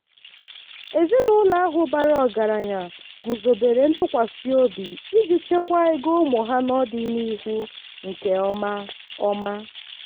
ezinụlọ ahụ bara ọgaranya guzobere ntụkwasịobi iji chekwaa ego ụmụ ha n'ọdịnihu nke ọma. ọma.